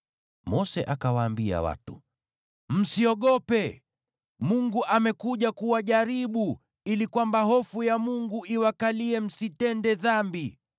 Mose akawaambia watu, “Msiogope! Mungu amekuja kuwajaribu, ili kwamba hofu ya Mungu iwakalie, msitende dhambi.”